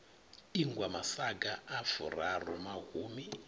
ingwa masaga a furaru mahumi